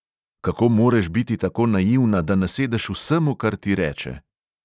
Kako moreš biti tako naivna, da nasedeš vsemu, kar ti reče!